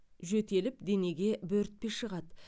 жөтеліп денеге бөртпе шығады